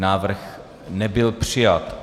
Návrh nebyl přijat.